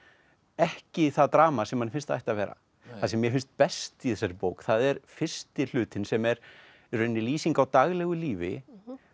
ekki það drama sem manni finnst að það ætti að vera það sem mér finnst best í þessari bók það er fyrsti hlutinn sem er í rauninni lýsing á daglegu lífi